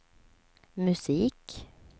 musik